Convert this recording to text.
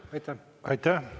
Aitäh!